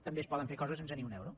també es poden fer coses sense ni un euro